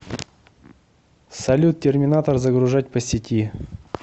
салют терминатор загружать по сети